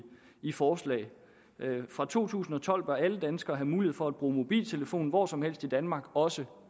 i forslaget fra to tusind og tolv bør alle danskere have mulighed for at bruge mobiltelefon hvor som helst i danmark også